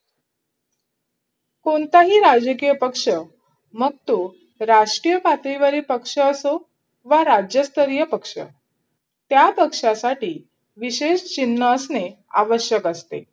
कोणताही राजकीय पक्ष मग तो राष्ट्रीय पातळीवरील पक्ष असो वा राज्यस्तरीय पक्ष त्या पक्षासाठी विशेष चिन्ह असणे आवश्यक असते.